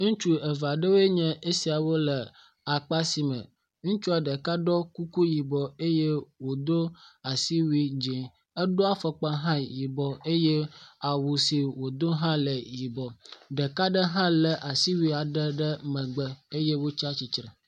Ŋutsu eve aɖewo nye esia wole akpa si me. Ŋutsua ɖeka ɖɔe kuku yibɔ eye wodo asiwuie dz0. Edo afɔkpa hã yibɔ, eye awu si wodo la hã le yibɔ. Ɖeka ɖe hã le asuwuie ɖe ŋgɔ eye wotsi atsitre.